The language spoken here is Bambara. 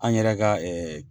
An yɛrɛ ka